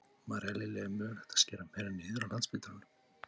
María Lilja: Er mögulegt að skera meira niður á Landspítalanum?